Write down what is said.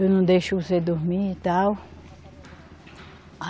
Eu não deixo você dormir e tal.